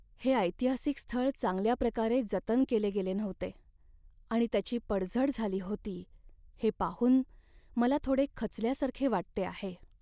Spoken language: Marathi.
हे ऐतिहासिक स्थळ चांगल्या प्रकारे जतन केले गेले नव्हते आणि त्याची पडझड झाली होती हे पाहून मला थोडे खचल्यासारखे वाटते आहे.